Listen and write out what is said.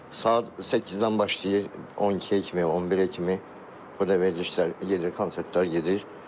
Saat 8-dən başlayır 12-yə kimi, 11-ə kimi o da verilişlər gedir, konsertlər gedir.